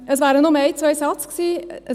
Es wären nur ein, zwei Sätze gewesen.